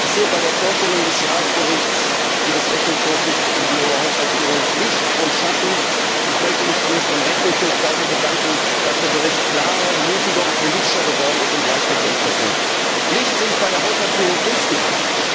Ich sehe bei der Vorstellung des Jahresberichts des Rechnungshofs über die EU Haushaltsführung Licht und Schatten, und ich möchte mich zunächst beim Rechnungshof dafür bedanken, dass der Bericht klarer, mutiger und politischer und für uns leichter verständlich geworden ist. Licht sehe ich bei der Haushaltsführung insgesamt.